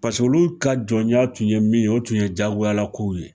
Paseke olu ka jɔnya tun ye min ye o tun ye jagoyala kow ye